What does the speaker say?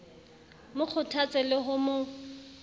mo kgothatse le ho mo